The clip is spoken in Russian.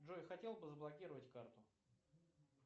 джой хотел бы заблокировать карту